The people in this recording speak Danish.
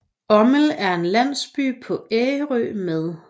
Ommel er en landsby på Ærø med